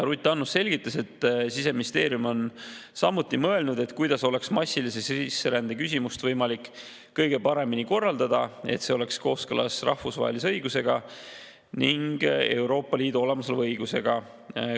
Ruth Annus selgitas, et Siseministeerium on samuti mõelnud, kuidas oleks massilise sisserände küsimust võimalik kõige paremini nii korraldada, et see oleks kooskõlas rahvusvahelise õigusega ning Euroopa Liidu olemasoleva õigusega.